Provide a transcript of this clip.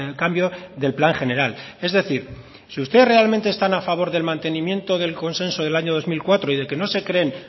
cambio del plan general es decir si ustedes realmente están a favor del mantenimiento del consenso del año dos mil cuatro y de que no se creen